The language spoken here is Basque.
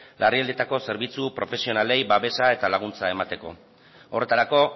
larrialdietako zerbitzu profesionalei babesa eta laguntza emateko horretarako